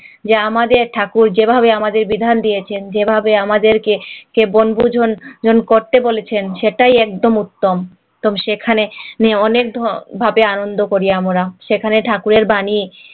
যা আমাদের ঠাকুর যেভাবে আমাদের বিধান দিয়েছেন যেভাবে আমাদেরকে কে বন্ধুজন করতে বলেছেন সেটাই একদম উত্তম সেখানে অনেক ভাবে আনন্দ করি আমরা সেখানে ঠাকুরের বাণী